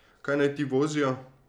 Kaj naj ti vozijo?